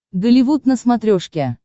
голливуд на смотрешке